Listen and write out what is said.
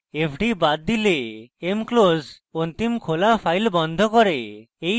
fd বাদ file mclose অন্তিম খোলা file বন্ধ করে